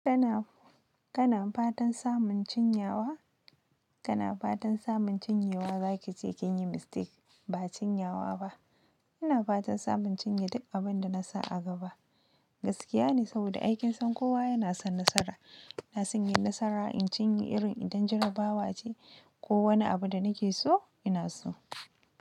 Kana, kana fatan samun cinyawa? Kana fatan samun cinyewa za ki ce kin yi mistake, ba cinyawa ba. Ina fatan samun cinye duk abin da na sa a gaba. Gaskiya ne, saboda aikinsan kowa yana son nasara. Na sanya nasara in cinye irin idan jarabawa ce, ko wani abu da nake so, ina so.